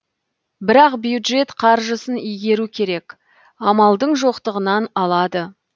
бірақ бюджет қаржысын игеру керек амалдың жоқтығынан алады